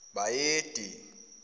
bayede